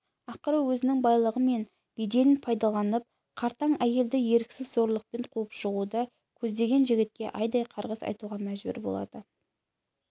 ақыры өзінің байлығы мен беделін пайдаланып қартаң әйелді еріксіз зорлықпен қуып шығуды көздеген жігітке айдай қарғыс айтуға мәжбүр болады